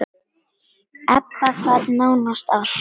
Ebba gat nánast allt.